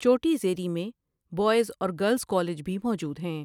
چوٹی زیریں میئ بواںز اور گرلز کالج بھی موجود ہیں ۔